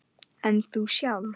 En þú sjálf?